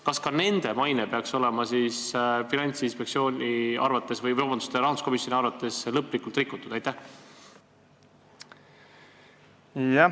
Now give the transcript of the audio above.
Kas ka nende maine peaks rahanduskomisjoni arvates lõplikult rikutud olema?